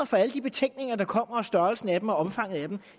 for alle de betænkninger der kommer og størrelsen af dem og omfanget af dem